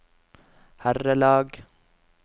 herrelag